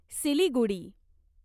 Siliguri